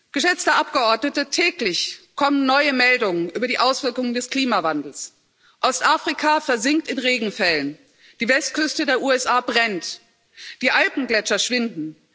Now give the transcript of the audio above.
Geschätzte Abgeordnete, täglich kommen neue Meldungen über die Auswirkungen des Klimawandels Ostafrika versinkt in Regenfällen, die Westküste der USA brennt, die Alpengletscher schwinden.